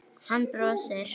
Hann brosir.